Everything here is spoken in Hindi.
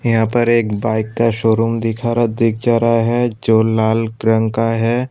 यहां पर एक बाइक का शोरूम दिखा रहा दिख जा रहा है जो लाल रंग का है।